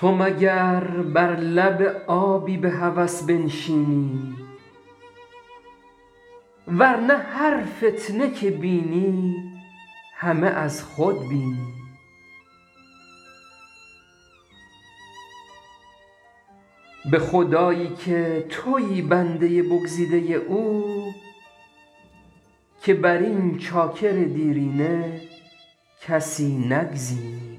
تو مگر بر لب آبی به هوس بنشینی ور نه هر فتنه که بینی همه از خود بینی به خدایی که تویی بنده بگزیده او که بر این چاکر دیرینه کسی نگزینی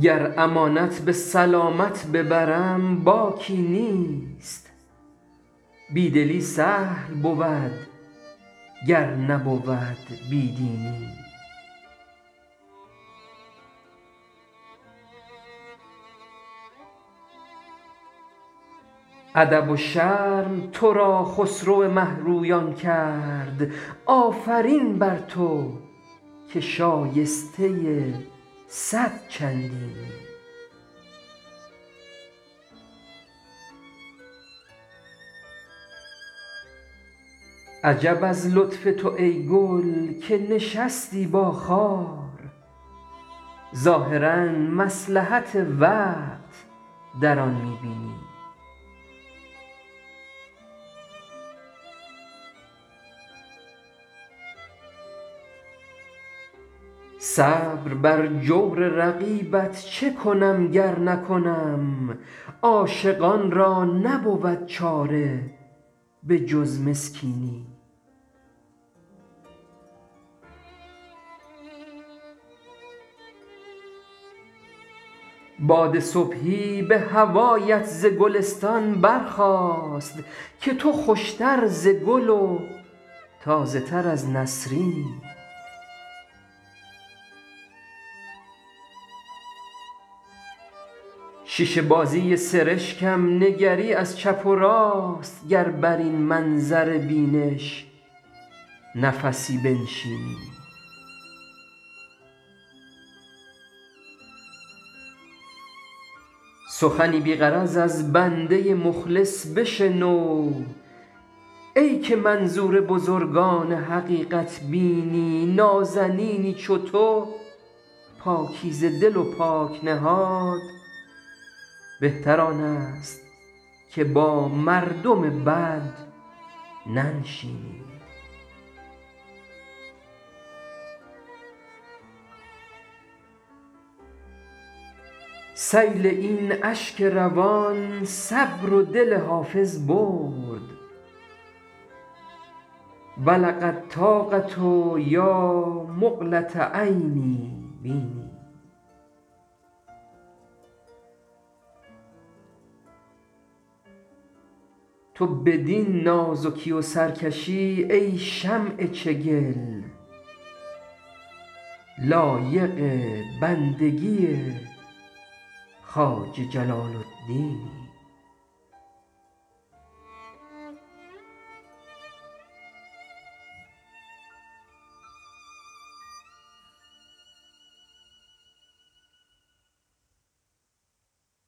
گر امانت به سلامت ببرم باکی نیست بی دلی سهل بود گر نبود بی دینی ادب و شرم تو را خسرو مه رویان کرد آفرین بر تو که شایسته صد چندینی عجب از لطف تو ای گل که نشستی با خار ظاهرا مصلحت وقت در آن می بینی صبر بر جور رقیبت چه کنم گر نکنم عاشقان را نبود چاره به جز مسکینی باد صبحی به هوایت ز گلستان برخاست که تو خوش تر ز گل و تازه تر از نسرینی شیشه بازی سرشکم نگری از چپ و راست گر بر این منظر بینش نفسی بنشینی سخنی بی غرض از بنده مخلص بشنو ای که منظور بزرگان حقیقت بینی نازنینی چو تو پاکیزه دل و پاک نهاد بهتر آن است که با مردم بد ننشینی سیل این اشک روان صبر و دل حافظ برد بلغ الطاقة یا مقلة عینی بیني تو بدین نازکی و سرکشی ای شمع چگل لایق بندگی خواجه جلال الدینی